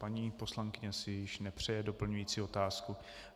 Paní poslankyně si již nepřeje doplňující otázku.